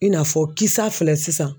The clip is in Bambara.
I n'a fɔ kisa filɛ sisan